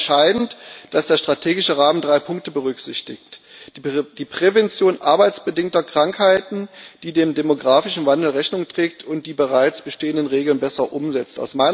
Für mich war entscheidend, dass der strategische Rahmen drei Punkte berücksichtigt die Prävention arbeitsbedingter Krankheiten, die dem demografischen Wandel Rechnung trägt und die bereits bestehenden Regeln besser umsetzt.